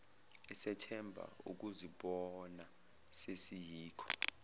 esethemba ukuzibona sesiyikho